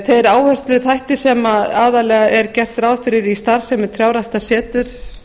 þeir áhersluþættir sem aðallega er gert ráð fyrir í starfsemi trjáræktarseturs